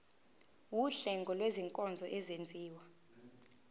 wuhlengo lwezinkonzo ezenziwa